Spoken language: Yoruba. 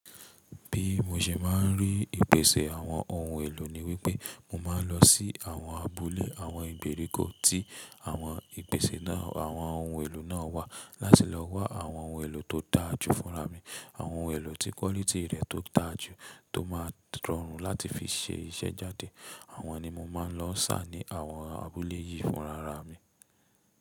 Bí mo ṣe máa ń rí ìpèsè àwọn ohun èlò ni wípé, mo máa ń lọ sí àwọn abúlé àwọn ìgbèríko tí àwọn ìpèsè náà, àwọn ohun èlò náà wà láti lọ wá àwọn ohun èlò tó dáa jù fúnra mi. Àwọn ohun èlò tí kọ́lítìì rẹ̀ tó dáa jù, tó máa rọrùn láti fi ṣe iṣẹ́ jáde. Àwọn ni mọ má lọ ṣà ni àwọn abúlé yi fún àrá mi.